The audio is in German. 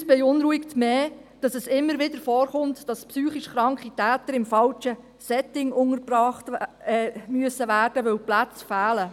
Uns beunruhigt mehr, dass es immer wieder vorkommt, dass psychisch kranke Täter in falschen Settings untergebracht werden müssen, weil die Plätze fehlen.